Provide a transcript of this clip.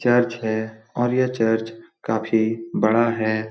Church है और यह चर्च काफी बड़ा है।